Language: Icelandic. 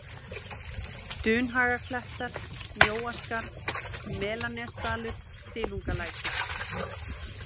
Dunhagaklettar, Mjóaskarð, Melanesdalur, Silungalækur